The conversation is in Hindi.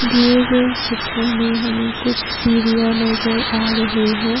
दिए गए चित्र में हमें कुछ सीरिया नजर आ रहे हैं।